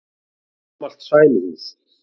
Gamalt sæluhús.